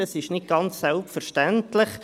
Das ist nicht ganz selbstverständlich.